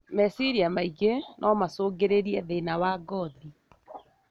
Meciria maingĩ no macũngĩrĩrie thina wa ngothi.